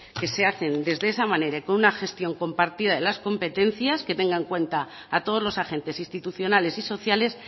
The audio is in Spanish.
que se hacen desde esa manera y con una gestión compartida de las competencias que tengan en cuenta a todos los agentes institucionales y sociales